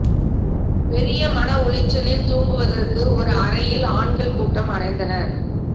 பெரிய மன உளைச்சலில் தூங்குவதற்கு ஒரு அறையில் ஆண்கள் கூட்டம் அடைந்தனர்